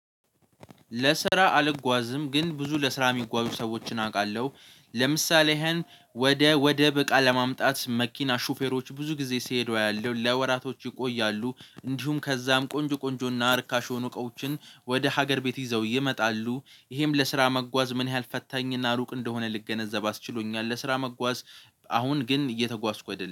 ለስራ አልጓዝም ግን ብዙ ለስራ የሚጓዙ ሰዎችን አውቃለሁ ለምሳሌ ይሄን ወደ ወደብ እቃ ለማምጣት የመኪና ሹፌሮች ብዙ ጊዜ ሲሄዱ ያሉ ለወራቶች ይቆያሉ እንዲሁም ከዚያም ቆንጆ ቆንጆና ረካሽ የሆኑ እቃዎችን ወደ ሀገር ቤት ይዘው ይመጣሉ ይሄም ለስራ መጓዝ ምን ያህል ፈታኝና እሩቅ እንደሆነ ልገነዘብ አስችሎኛል። ለስራ መጓዝ አሁን ግን እየተጓዝኩ አይደለም